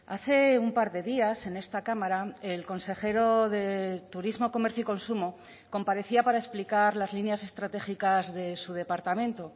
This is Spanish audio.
hace un par de días en esta cámara el consejero de turismo comercio y consumo comparecía para explicar las líneas estratégicas de su departamento